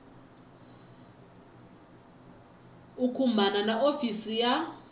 u khumbana na hofisi ya